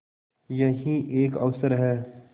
यही एक अवसर है